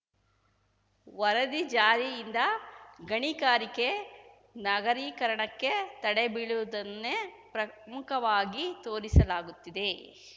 ವರದಿ ಜಾರಿಯಿಂದ ಗಣಿಗಾರಿಕೆ ನಗರೀಕರಣಕ್ಕೆ ತಡೆ ಬೀಳುವುದನ್ನೇ ಪ್ರಮುಖವಾಗಿ ತೋರಿಸಲಾಗುತ್ತಿದೆ